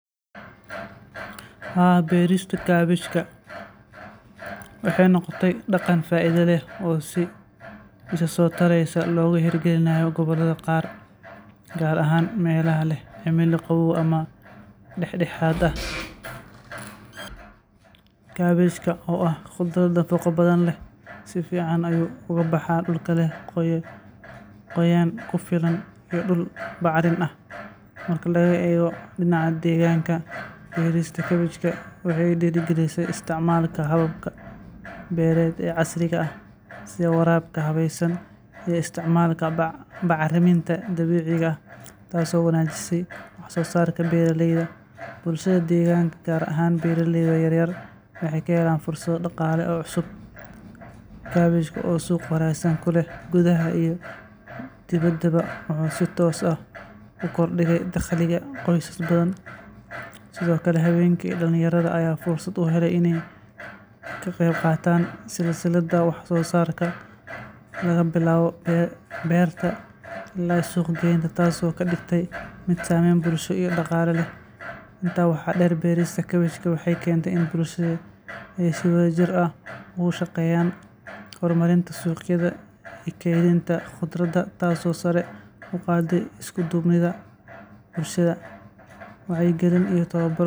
Haa ,beerista kabashka waxey noqotey daqan faaidha leh oo si isasotarrysa logahirgalinaya goboladha qaar gaar ahaan melaha leh cimila qawoow ama daxdaxaad ah. Kabashka oo ah qudrad nafaqo badhan leh sifican ayu ugabaxaa dulka leh qoyaan kufilan iyo dul bacarin ah. Marka looego dinaca degaanka beerista kabashka waxey diri galisey isticmalka hababka beeraley casriga ah si waraabka habeysan iyo isticmalka bacariminta dabiiciga ah taas oo wancajisey waxsosaarka beeraleyda. Bulshada degaanka gaar ahaan beeraleyda yaryar waxey kaheloaan fursadho daqaale oo cusub. Kabashka oo suuq qurahsan kuleh gudaha iyo dibada bo wuxu sitoos ah ukordinaa daqliga qoysas badhan. Sidhookale habenki dalinyaradha ayaa fursad uheley kaqeyb qaatan sisilada wax sosaarka lagabilaabo beerta ila suuq geynta taas oo kadigeysa mid saameyn bulsho iyo daqaale leh. Intaa waxaa deer beerista kabashka waxey Kente in bulshadu ey si wadha jir ah ey ushaqeyan hormarinta suqyadhaha iyo keeninta qudradha taasi oo sare uqaade iskudubnidha bulshada, wacyigalin iyo towbaro.